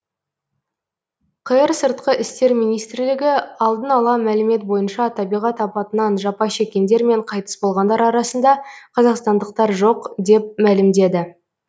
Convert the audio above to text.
қр сыртқы істер министрлігі алдын ала мәлімет бойынша табиғат апатынан жапа шеккендер мен қайтыс болғандар арасында қазақстандықтар жоқ деп мәлімдеді